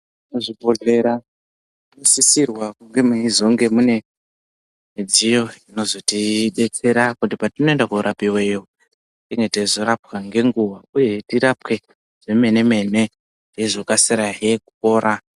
Muzvibhodhlera munosisirwa kunge meizonge mune midziyo inozotidetsera kuti patinoenda korapiweyo tinge teizorapwa nenguwa uyehe teirapwe zvemene-mene teizokasirahe kupora.